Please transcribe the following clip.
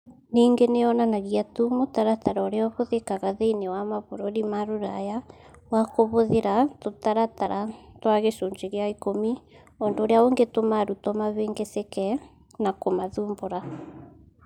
Ningĩ nĩ yonanagia tu mũtaratara ũrĩa ũhũthĩkaga thĩinĩ wa mabũrũri ma Rũraya wa kũhũthĩra tũtaratara twa gĩcunjĩ gĩa ikũmi, ũndũ ũrĩa ũngĩtũma arutwo mahĩngĩcĩke na kũmathumbũra.